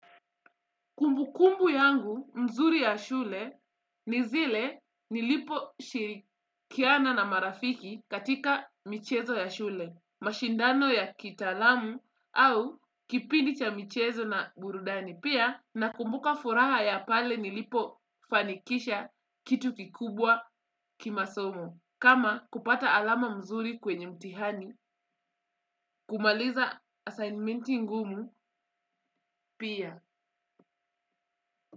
Kumbukumbu yangu mzuri ya shule ni zile niliposhirikiana na marafiki katika michezo ya shule, mashindano ya kitaalamu au kipindi cha michezo na burudani pia nakumbuka furaha ya pale nilipofanikisha kitu kikubwa kimasomo. Kama kupata alama mzuri kwenye mtihani, kumaliza assignmenti ngumu pia.